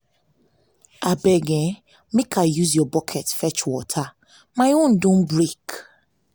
abeg eh make i use your bucket fetch water my own don break